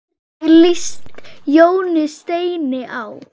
Hvernig líst Jóni Steini á?